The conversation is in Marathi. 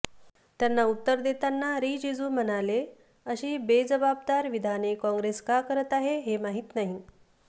त्यांना उत्तर देताना रिजीजू म्हणाले अशी बेजाबदार विधाने काँग्रेस का करत आहे हे माहित नाही